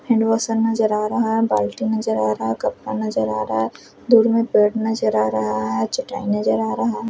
Handwash सा नजर आ रहा है बाल्टी नजर आ रहा है कपड़ा नजर आ रहा है दूर में बेड नजर आ रहा है चटाई नजर आ रहा है।